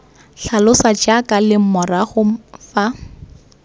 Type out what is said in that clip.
tlhalosa jaaka leng morago fa